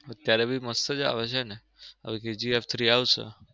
અત્યરે બી મસ્ત જ આવે છે ને હવે KGF three આવશે.